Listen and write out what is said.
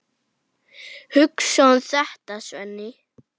Hugsaðu um þetta, Svenni!